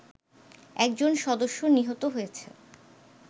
একজন সদস্য নিহত হয়েছে